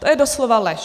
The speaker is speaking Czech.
To je doslova lež.